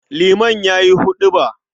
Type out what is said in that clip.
Liman ya yi huɗuba.